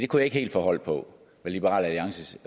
kunne ikke helt få hold på hvad liberal alliances